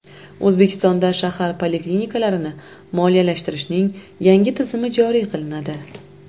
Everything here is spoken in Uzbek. O‘zbekistonda shahar poliklinikalarini moliyalashtirishning yangi tizimi joriy qilinadi.